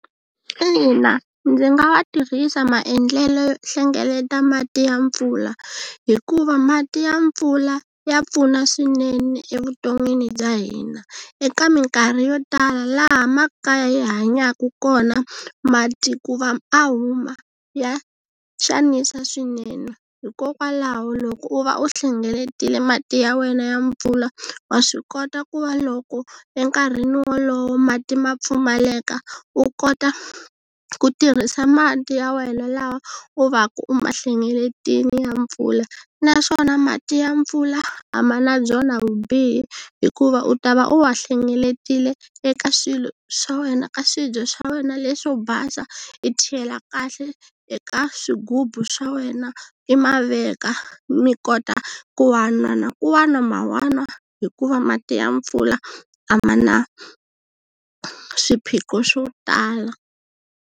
Ina, ndzi nga wa tirhisa maendlelo yo hlengeleta mati ya mpfula, hikuva mati ya mpfula ya pfuna swinene evuton'wini bya hina eka mikarhi yo tala laha makaya hi hanyaka kona mati ku va a huma ya xanisa swinene, hikokwalaho loko u va u hlengeletile mati ya wena ya mpfula wa swi kota ku va loko enkarhini wolowo mati ma pfumaleka, u kota ku tirhisa mati ya wena lawa u va ka u ma hlengeletile ya mpfula. Naswona mati ya mpfula a ma na byona vubihi hikuva u ta va u wa hlengeletile eka swilo swa wena ka swibye swa wena leswo basa i chela kahle eka swigubu swa wena i ma veka mi kota ku va na na ku wa nwa wa wa nwa hikuva mati ya mpfula a ma na swiphiqo swo tala.